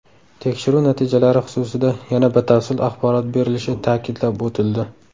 Tekshiruv natijalari xususida yana batafsil axborot berilishi ta’kidlab o‘tildi.